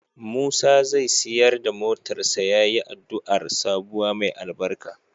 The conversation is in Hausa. Musa zai siyar da motarsa ​​yayi addu'ar sabuwa mai albarka.